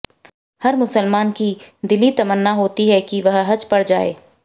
हर मुसलमान की दिली तमन्ना होती है कि वह हज पर जाए